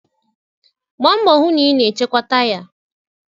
Gbaa mbọ hụ na ị na-echekwa taya